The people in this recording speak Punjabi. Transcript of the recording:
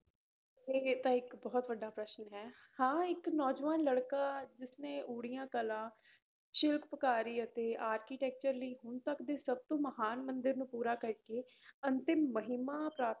ਇਹ ਤਾਂ ਇੱਕ ਬਹੁਤ ਵੱਡਾ ਪ੍ਰਸ਼ਨ ਹੈ ਹਾਂ ਇੱਕ ਨੌਜਵਾਨ ਲੜਕਾ ਜਿਸਨੇ ਊੜੀਆ ਕਲਾ ਸ਼ਿਲਪਕਾਰੀ ਅਤੇ architecture ਲਈ ਹੁਣ ਤੱਕ ਦੀ ਸਭ ਤੋਂ ਮਹਾਨ ਮੰਦਿਰ ਨੂੰ ਪੂਰਾ ਕਰਕੇ ਅੰਤਿਮ ਮਹਿਮਾ ਪ੍ਰਾ~